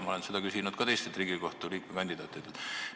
Ma olen seda küsinud ka teistelt Riigikohtu liikme kandidaatidelt.